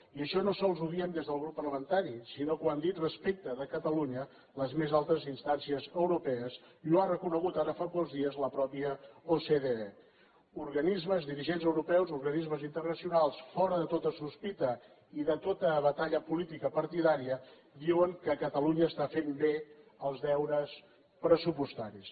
i això no sols ho diem des del grup parlamentari sinó que ho han dit respecte de catalunya les més altes instàncies europees i ho ha reconegut ara fa pocs dies la mateixa ocde dirigents europeus organismes internacionals fora de tota sospita i de tota batalla política partidària diuen que catalunya està fent bé els deures pressupostaris